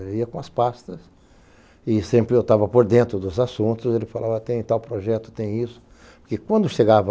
Eu ia com as pastas e sempre eu estava por dentro dos assuntos, ele falava, tem tal projeto, tem isso, porque quando chegava